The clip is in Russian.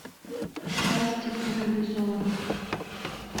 страсти по ревизору